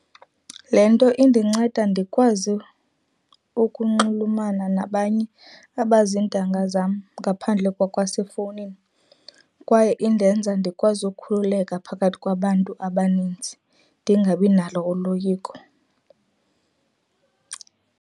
Le nto indinceda ndikwazi ukunxulumana nabanye abazintanga zam ngaphandle kwakwasefowunini kwaye indenza ndikwazi ukhululeka phakathi kwabantu abaninzi, ndingabinalo uloyiko.